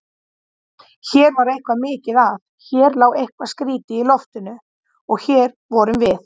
Hér var eitthvað mikið að, hér lá eitthvað skrýtið í loftinu- og hér vorum við.